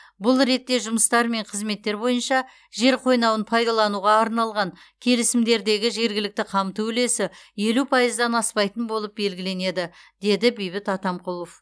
бұл ретте жұмыстар мен қызметтер бойынша жер қойнауын пайдалануға арналған келісімдердегі жергілікті қамту үлесі елу пайыздан аспайтын болып белгіленеді деді бейбіт атамқұлов